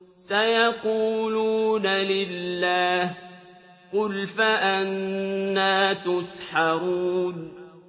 سَيَقُولُونَ لِلَّهِ ۚ قُلْ فَأَنَّىٰ تُسْحَرُونَ